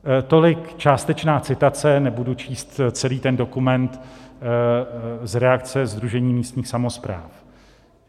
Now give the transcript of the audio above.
Tolik částečná citace, nebudu číst celý ten dokument z reakce Sdružení místních samospráv.